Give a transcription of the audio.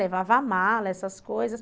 Levava a mala, essas coisas.